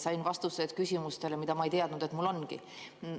Sain vastused küsimustele, mida ma ei teadnud endal olevatki.